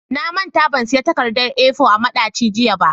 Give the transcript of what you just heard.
Na manta ban siyan takardar A4 a madaci jiya ba.